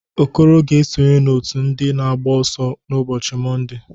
Okoro ga-esonye n'ọ́tụ̀ ndị na agba ọsọ ụbọchị Mọnde.